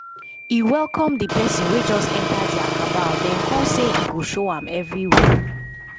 e welcome d person wey just enter dia cabal den come say e go show am everywhere